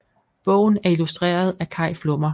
Bogen er illustreret af Kai Flummer